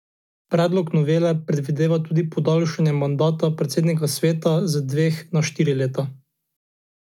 Predlog novele predvideva tudi podaljšanje mandata predsednika sveta z dveh na štiri leta.